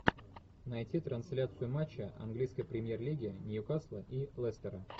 найти трансляцию матча английской премьер лиги ньюкасла и лестера